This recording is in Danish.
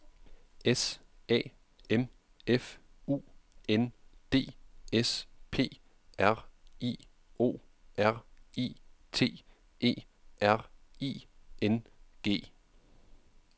S A M F U N D S P R I O R I T E R I N G